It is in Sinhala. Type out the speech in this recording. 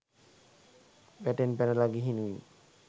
වැටෙන් පැනලා ගිහිනුයි.